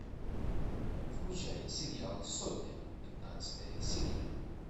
включай сериал сотня пятнадцатая серия